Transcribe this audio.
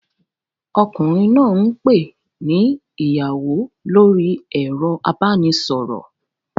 Ọkùnrin náà ń pè ni ìyàwó lórí ẹ̀rọ ìbánisọ̀rọ̀